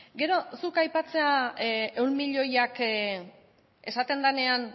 gero zuk aipatzea ehun milioiak esaten denean